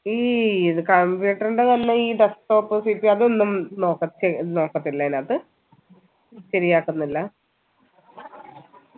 ഈ ഇത് computer ന്റെ വല്ല ഈ desktopPC അതൊന്നും നോക്ക ചെയ് നോക്കത്തില്ല അയിനാത്ത് ശരിയാക്കുന്നില്ല